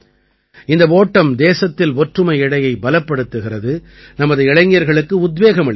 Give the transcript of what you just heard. இந்த ஓட்டம் தேசத்தில் ஒற்றுமை இழையைப் பலப்படுத்துகிறது நமது இளைஞர்களுக்கு உத்வேகம் அளிக்கிறது